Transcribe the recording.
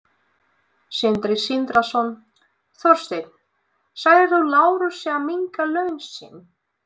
Sindri Sindrason: Þorsteinn, sagðir þú Lárusi að minnka laun sín?